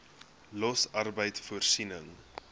los arbeid voorsiening